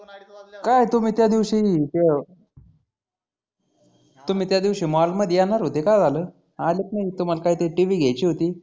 काय तुम्ही त्या दिवसी ते तुम्ही त्या दिवसी mall मध्ये येणार होते काय झाल आलेत नाही तुम्हाला काही तरी t. v घ्यायची होती.